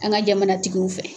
An ka jamana tigiw fɛ.